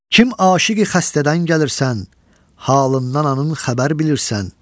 Kim aşiqi xəstədən gəlirsən, halından anın xəbər bilirsən?